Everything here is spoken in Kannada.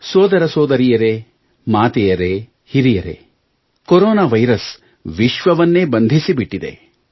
ಸೋದರ ಸೋದರಿಯರೇ ಮಾತೆಯರೇ ಹಿರಿಯರೇ ಕೊರೊನಾ ವೈರಸ್ ವಿಶ್ವವನ್ನೇ ಬಂಧಿಸಿಬಿಟ್ಟಿದೆ